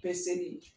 Bɛɛ seli